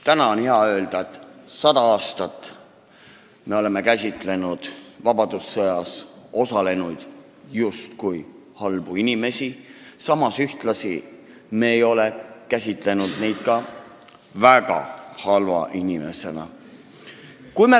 Täna on hea öelda, et sada aastat me oleme käsitlenud vabadussõjas osalenuid justkui halbu inimesi, samas me ei ole käsitlenud neid väga halbade inimestena.